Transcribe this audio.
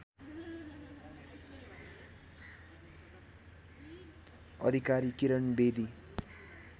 Adhikari Kiran Bedi